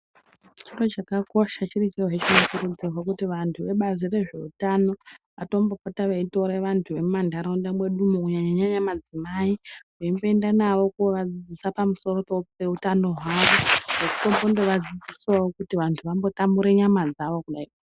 Chiro chakakosha chiri chiro chinokurudzirwa kuti vantu vebazi rezveutano vatombopota veitora vantu vemumantaraunda mwedumwo kunyanyanya madzimai veimboenda nawo kovadzidzisa pamusoro peutano hwavo nekutombovadzidzisawo kuti vantu vambotamure nyama dzawo kudai.